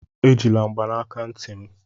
Ejila mgbanaka ntị m!